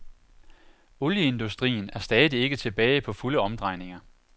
Olieindustrien er stadig ikke tilbage på fulde omdrejninger.